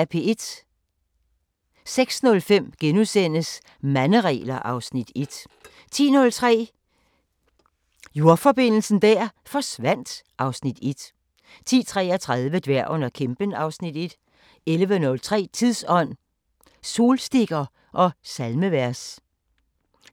06:05: Manderegler (Afs. 1)* 10:03: Jordforbindelsen der forsvandt (Afs. 1) 10:33: Dværgen og kæmpen (Afs. 1) 11:03: Tidsånd: Solstikker og salmevers